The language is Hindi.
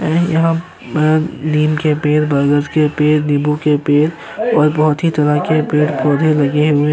ए यहाँ अ नीम के पेड़ बरगद के पेड़ नीबू के पेड़ और बहोत ही तरह के पेड़ - पौधे लगे हुए --